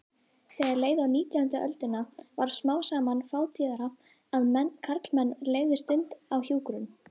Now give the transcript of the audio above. Þegar leið á nítjándu öldina varð smám saman fátíðara að karlmenn legðu stund á hjúkrun.